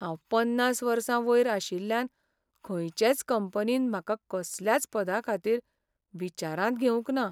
हांव पन्नास वर्सां वयर आशिल्ल्यान खंयचेच कंपनीन म्हाका कसल्याच पदाखातीर विचारांत घेवंक ना.